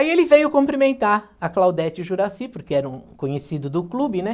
Aí ele veio cumprimentar a Claudete e o Juracy, porque era um conhecido do clube, né?